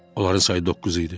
Onların sayı doqquz idi.